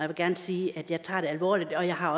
vil gerne sige at jeg tager det alvorligt og jeg har